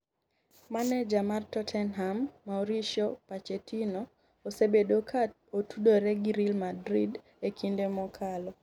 Maneja mar Tottenham Mauricio Pochettino osebedo ka otudore gi real Madrid e kinde mokalo.